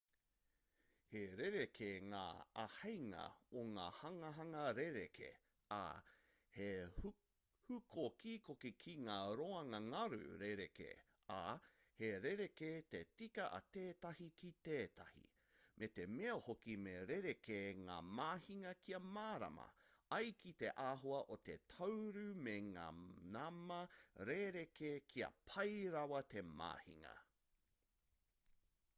he rerekē ngā āheinga o ngā hanganga rerekē ā he hūkokikoki ki ngā roanga-ngaru rerekē ā he rerekē te tika a tētahi ki tētahi me te mea hoki me rerekē ngā mahinga kia mārama ai ki te āhua o te tāuru me ngā nama rerekē kia pai rawa te mahinga